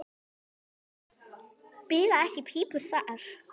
Bila ekki pípur þar.